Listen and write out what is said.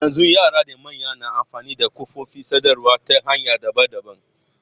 Yanzu yara da manya na amfani da kafofin sadarwa ta hanya daban daban.